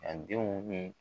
A denw ye